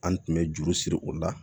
An tun bɛ juru siri o la